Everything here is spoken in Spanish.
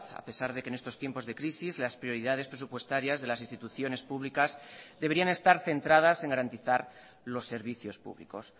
a pesar de que en estos tiempos de crisis las prioridades presupuestarias de las instituciones públicas deberían estar centradas en garantizar los servicios públicos